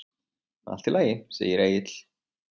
Allt í lagi, segir Egill.